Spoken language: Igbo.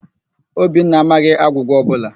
Obinna amaghị agwụgwa ọbụla.